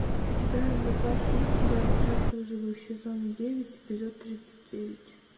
у тебя в запасе есть сериал остаться в живых сезон девять эпизод тридцать девять